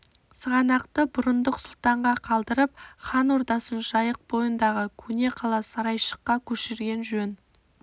сығанақты бұрындық сұлтанға қалдырып хан ордасын жайық бойындағы көне қала сарайшыққа көшірген жөн